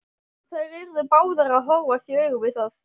Þær yrðu báðar að horfast í augu við það.